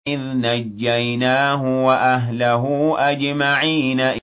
إِذْ نَجَّيْنَاهُ وَأَهْلَهُ أَجْمَعِينَ